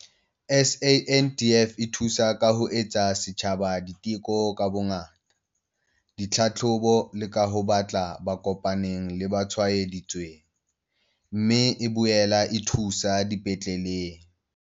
SANDF e thusa ka ho etsa setjhaba diteko ka bongata, ditlhahlobo le ka ho batla ba kopaneng le ba tshwaedi tsweng, mme e boela e thuso dipetleleng.